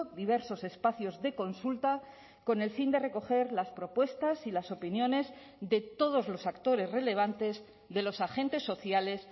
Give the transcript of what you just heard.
diversos espacios de consulta con el fin de recoger las propuestas y las opiniones de todos los actores relevantes de los agentes sociales